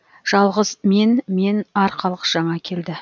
жалғыз мен мен арқалық жаңа келді